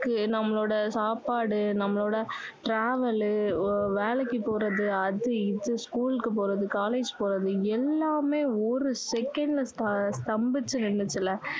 நம்மலோட சாப்பாடு நம்மலோட travel வேலைக்கு போறது அது இது school க்கு போறது college போறது எல்லாமே ஒரு second ல ஸ்த~ஸ்தம்பிச்சு நின்னுச்சுல